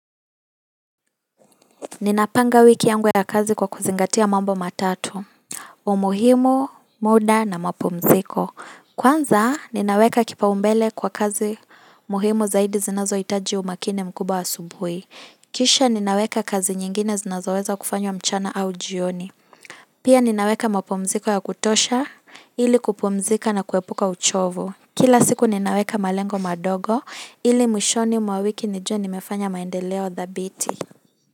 Ninapanga wiki yangu ya kazi kwa kuzingatia mambo matatu. Umuhimu, muda na mapumziko. Kwanza, ninaweka kipaumbele kwa kazi muhimu zaidi zinazohitaji umakini mkubwa asubuhi. Kisha ninaweka kazi nyingine zinazoweza kufanywa mchana au jioni. Pia ninaweka mapumziko ya kutosha ili kupumzika na kuepuka uchovu. Kila siku ninaweka malengo madogo ili mwishoni mwa wiki nijue nimefanya maendeleo thabiti.